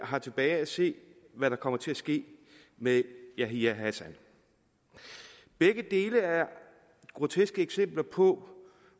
har tilbage at se hvad der kommer til at ske med yahya hassan begge dele er groteske eksempler på